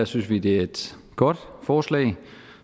synes vi det er et godt forslag